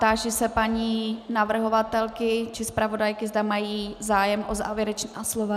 Táži se paní navrhovatelky či zpravodajky, zda mají zájem o závěrečná slova.